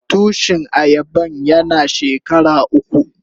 Tushin ayaban yana shekara uku.